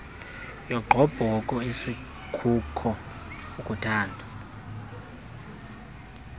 yogqobhoko asikuko ukuuthanda